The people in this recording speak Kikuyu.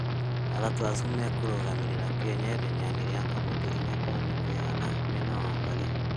atatũ acĩo makũrũgamĩrĩra Kenya ĩhenyaĩnĩ rĩa kamũtĩ 4*100m marĩ na Wangari